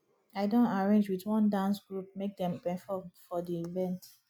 i don arrange wit one dance group make dem perform for di event